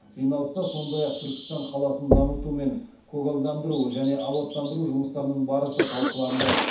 жиналыста сондай ақ түркістан қаласын дамыту мен көгалдандыру және абаттандыру жұмыстарының барысы талқыланды